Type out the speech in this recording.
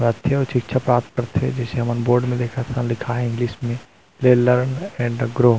माध्यम शिक्षा प्राप्त करथे जैसे हमन बोर्ड में देखत हन लिखाय हे इंग्लिश में एंड ग्रो --